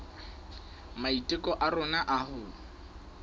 maiteko a rona a ho